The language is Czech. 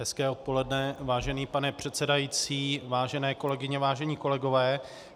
Hezké odpoledne, vážený pane předsedající, vážené kolegyně, vážení kolegové.